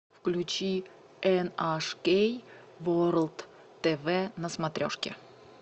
включи эн аш кей ворлд тв на смотрешке